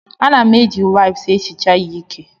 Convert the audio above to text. Ana m eji waịps ehicha ya ike.